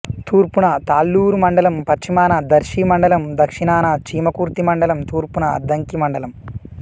తూర్పున తాళ్ళూరు మండలం పశ్చిమాన దర్శి మండలం దక్షణాన చీమకుర్తి మండలం తూర్పున అద్దంకి మండలం